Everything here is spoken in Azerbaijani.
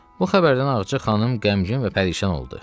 Bu xəbərdən Ağca xanım qəmgin və pərişan oldu.